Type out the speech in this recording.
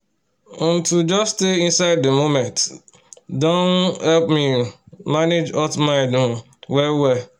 um to just stay inside the moment don um help me um manage hot mind um well-wel